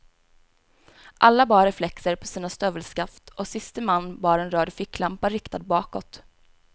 Alla bar reflexer på sina stövelskaft och siste man bar en röd ficklampa riktad bakåt.